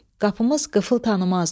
Qapımız qıfıl tanımazdı.